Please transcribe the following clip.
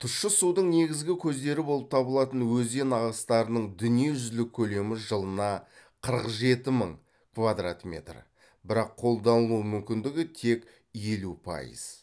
тұщы судың негізгі көздері болып табылатын өзен ағыстарының дүние жүзілік көлемі жылына қырық жеті мың квадрат метр бірақ қолданылу мүмкіндігі тек елу пайыз